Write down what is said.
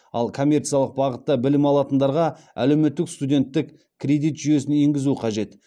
ал коммерциялық бағытта білім алатындарға әлеуметтік студенттік кредит жүйесін енгізу қажет